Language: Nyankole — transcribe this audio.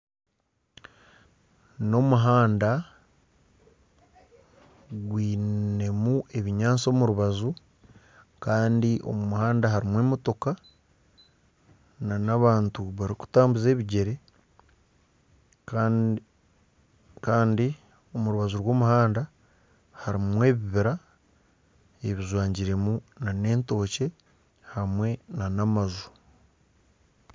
Omuhanda gwinemu ebinyatsi omu rubaju kandi omu muhanda harimu emotoka nana abantu barikutambuza ebigyere kandi omu rubaju rw'omuhanda harimu ebibira ebijwangiremu nana entookye hamwe nana amaju